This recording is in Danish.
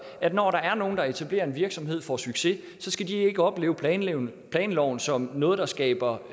at når der er nogle der etablerer en virksomhed og får succes skal de ikke opleve planloven planloven som noget der skaber